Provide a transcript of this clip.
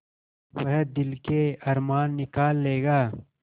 वह दिल के अरमान निकाल लेगा